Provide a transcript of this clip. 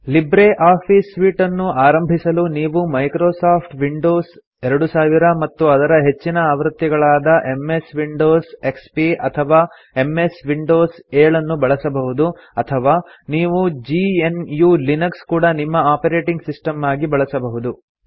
Libre office suite ಅನ್ನು ಆರಂಭಿಸಲು ನೀವು ಮೈಕ್ರೊಸಾಫ್ಟ್ ವಿಂಡೋಸ್ 2000 ಮತ್ತು ಅದರ ಹೆಚ್ಚಿನ ಆವೃತ್ತಿಗಳಾದ ಎಂಎಸ್ ವಿಂಡೋಸ್ ಎಕ್ಸ್ಪಿ ಅಥವಾ ಎಂಎಸ್ ವಿಂಡೋಸ್ 7 ನ್ನು ಬಳಸಬಹುದು ಅಥವಾ ನೀವು gnuಲಿನಕ್ಸ್ ಕೂಡಾ ನಿಮ್ಮ ಆಪರೇಟಿಂಗ್ ಸಿಸ್ಟಮ್ ಆಗಿ ಬಳಸಬಹುದು